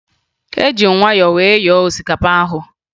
Eji m myọ wee yọọ osikapa ahụ